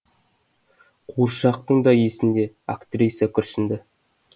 қуыршақтың да есінде актриса күрсінді